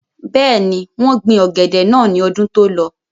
bẹ́ẹ̀ni, wọ́n gbin ọ̀gẹ̀dẹ̀ náà ní ọdún tó lọ